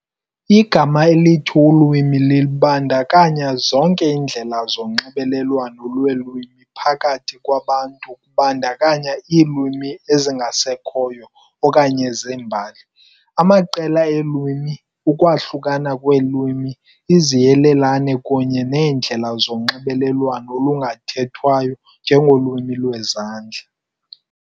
Igama elithi ulwimi libandakanya zonke iindlela zonxibelelwano lweelwimi phakathi kwabantu kubandakanya iilwimi ezingasekhoyo okanye zembali, amaqela eelwimi, ukwahluka kweelwimi, iziyelelane kunye neendlela zonxibelelwano olungathethwayo. njengolwimi lwezandla.